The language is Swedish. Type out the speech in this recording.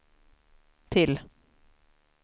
till